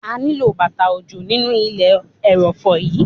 A ó nílò bàtà òjò nínú ilẹ̀ ẹrọ̀fọ̀ yí.